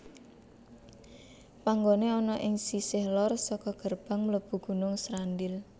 Panggoné ana ing sisih lor saka gerbang mlebu Gunung Srandil